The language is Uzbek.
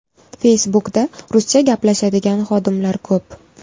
Facebook’da ruscha gaplashadigan xodimlar ko‘p.